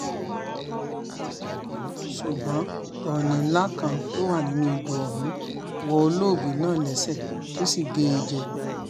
ṣùgbọ́n òní ńlá kan tó wà nínú odò ọ̀hún wọ olóògbé náà lẹ́sẹ̀ tó sì gé e jẹ